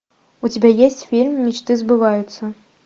у тебя есть фильм мечты сбываются